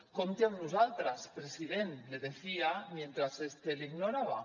compti amb nosaltres president le decía mientras este le ignoraba